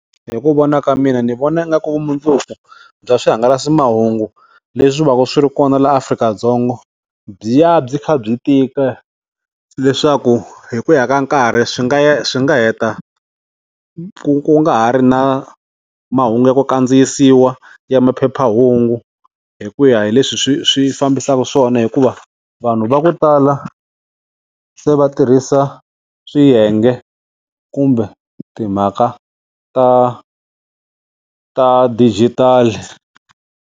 Hi ku vona ka mina ni vona nga ku vumundzuku bya swihangalasamahungu leswi vaka swi ri kona laha Afrika-Dzonga byi ya byi kha byi tika leswaku hi ku ya ka nkarhi swi nga ya swi nga heta ku ku nga ha ri na mahungu ya ku kandziyisiwa ya maphephahungu hi ku ya hi leswi swi swi fambisaka swona hikuva vanhu va ku tala se va tirhisa swiyenge kumbe timhaka ta ta dijitali.